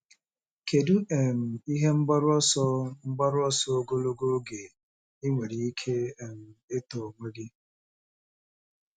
Kedu um ihe mgbaru ọsọ mgbaru ọsọ ogologo oge ị nwere ike um ịtọ onwe gị?